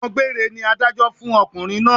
Ẹ̀wọ̀n gbéére ni Adájọ́ fún ọkùnrin náà